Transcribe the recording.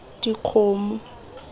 dikgomo